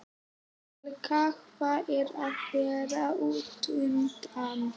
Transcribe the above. Helga: Hvað er að vera útundan?